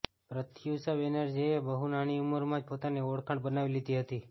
પ્રત્યુષા બેનર્જી એ બહુ નાની ઉંમર માં જ પોતાની ઓળખાણ બનાવી લીધી હતી